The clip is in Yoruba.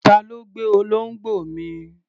Ta ló gbé olóńgbò mi?